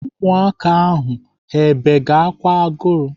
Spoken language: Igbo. Ụmụaka ahụ ha bege ákwà agụrụ?